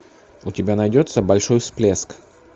у тебя найдется большой всплеск